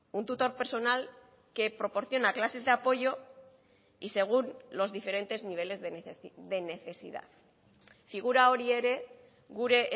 un tutor personal que proporciona clases de apoyo y según los diferentes niveles de necesidad figura hori ere gure